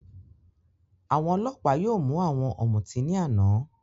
Àwọn ọlọ́pàá yóò mú àwọn ọmuti ní àná